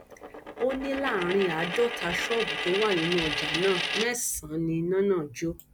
ó ní láàrin àádọta ṣọọbù tó wà nínú ọjà náà mẹsànán ni iná náà jó